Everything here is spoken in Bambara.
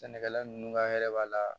Sɛnɛkɛla nunnu ka hɛrɛ b'a la